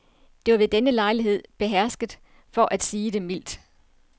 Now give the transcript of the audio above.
Det var ved denne lejlighed behersket, for at sige det mildt.